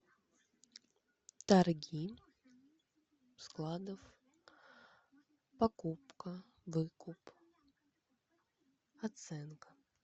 торги складов покупка выкуп оценка